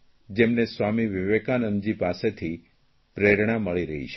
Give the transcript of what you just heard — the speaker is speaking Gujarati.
જેમને સ્વામી વિવેકાનંદજી પાસેથી પ્રેરણા મળી રહી છે